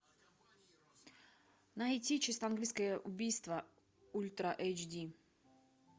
найти чисто английское убийство ультра эйч ди